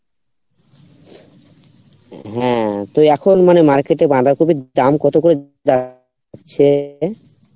হ্যাঁ তো এখন মানে market এ বাঁধাকপির দাম কত করে দেওয়া হচ্ছে?